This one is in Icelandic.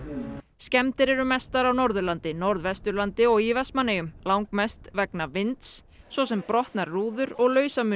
skemmdir eru mestar á Norðurlandi Norðvesturlandi og í Vestmannaeyjum langmest vegna vinds svo sem brotnar rúður og